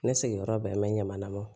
Ne sigiyɔrɔ bɛnbɛn ɲama na